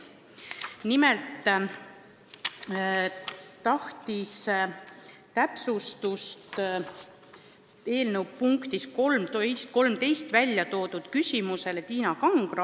Nimelt tahtis täpsustust eelnõu punkti 13 kohta Tiina Kangro.